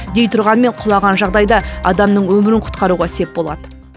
дей тұрғанмен құлаған жағдайда адамның өмірін құтқаруға сеп болады